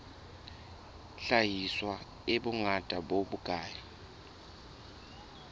hlahiswa e bongata bo bokae